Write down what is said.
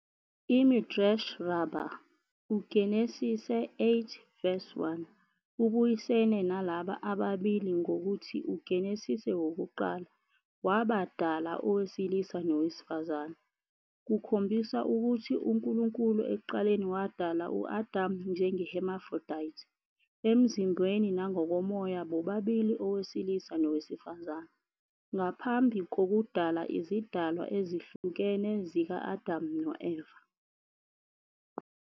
IMidrash Rabbah - UGenesise VIII- 1 ubuyisene nalaba ababili ngokuthi uGenesise wokuqala, "wabadala owesilisa nowesifazane", kukhombisa ukuthi uNkulunkulu ekuqaleni wadala u-Adamu njenge- hermaphrodite, emzimbeni nangokomoya bobabili owesilisa nowesifazane, ngaphambi kokudala izidalwa ezihlukene zika-Adamu no-Eva.